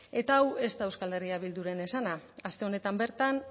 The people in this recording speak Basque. eta hau ez da euskal herria bilduren esana aste honetan bertan